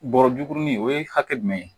Bɔrɔ juguni o ye hakɛ jumɛn ye